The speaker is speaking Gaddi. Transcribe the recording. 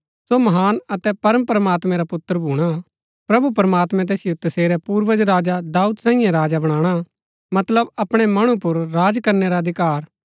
सो महान अतै परमप्रमात्मैं रा पुत्र भूणा प्रभु प्रमात्मैं तैसिओ तसेरै पूर्वज राजा दाऊद सांईयै राजा बनाणा मतलब अपणै मणु पुर राज करनै रा अधिकार